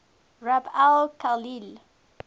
rub al khali